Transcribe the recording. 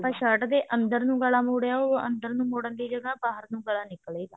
shirt ਦੇ ਅੰਦਰ ਨੂੰ ਗਲਾ ਮੋੜਿਆ ਉਹ ਅੰਦਰ ਨੂੰ ਮੋੜਨ ਦੀ ਜਗ੍ਹਾ ਬਾਹਰ ਨੂੰ ਗਲਾ ਨਿਕਲੇਗਾ